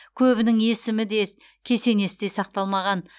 көбінің есімі де кесенесі де сақталмаған